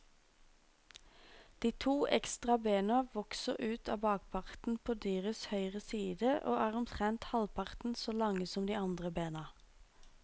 De to ekstra bena vokser ut av bakparten på dyrets høyre side og er omtrent halvparten så lange som de andre bena.